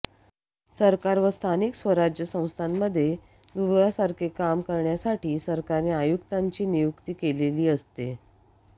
सरकार व स्थानिक स्वराज्य संस्थांमध्ये दुव्यासारखे काम करण्यासाठी सरकारने आयुक्तांची नियुक्ती केलेली असते